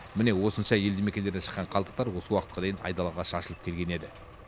міне осынша елді мекендерден шыққан қалдықтар осы уақытқа дейін айдалаға шашылып келген еді